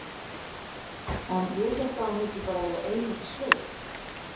En ég hélt að hún vildi bara vera ein úti í sveit.